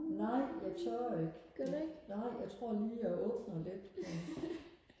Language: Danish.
nej jeg tør ikke nej jeg tror lige jeg åbner lidt for